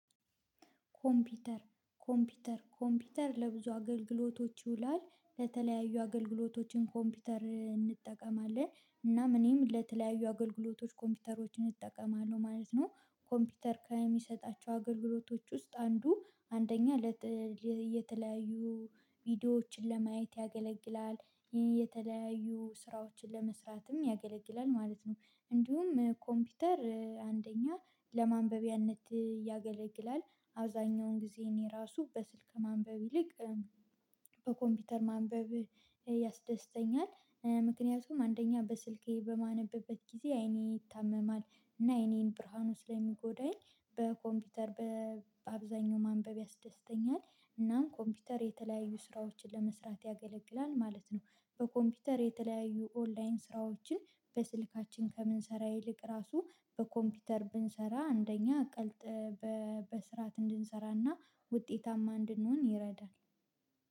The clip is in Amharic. ኮምፒውተር ኮምፒውተር ኮምፒውተር ለብዙ አገልግሎቶች ይውላል ለተለያዩ አገልግሎቶችም ኮምፒውተር እንጠቀማለን እናም እኔም ለተለያዩ አገልግሎቶች ኮምፒውተሮችን እንጠቀማለን ማለት ነው። ኮምፒውተር ከሚሰጣቸው አገልግሎቶች ውስጥ አንዱ አንደኛ። የተለያዩ ቪዲዮዎችን ለማየት ያገለግላል። ይሄ የተለያዩ ስራዎችን ለመስራትም ያገለግላል ማለት ነው። እንዲሁም ኮምፒውተር አንደኛ ለማንበቢያነት ያገለግላል። አብዛኛውን ጊዜ እኔ ራሱ በስልክ ከማንበብ ይልቅ በኮምፒውተር ማንበብ ያስደስተኛል። ምክንያቱም አንደኛ በስልኬ በማነብበት ጊዜ አይኔ ይታመማል። እና አይኔን ብርሃኑ ስለሚጎዳኝ በኮምፒውተር በአብዛኛው ማንበብ ያስደስተኛል። እናም ኮምፒውተር የተለያዩ ስራዎችን ለመስራት ያገለግላል ማለት ነው። በኮምፒውተር የተለያዩ ኦንላይን ስራዎችን በስልካችን ከምንሰራ ይልቅ ራሱ በኮምፒውተር ብንሰራ አንደኛ ቀልጥ። በስርዓት እንድንሰራና ውጤታማ እንድንሆን ይረዳል